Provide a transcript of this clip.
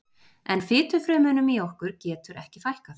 En fitufrumunum í okkur getur ekki fækkað.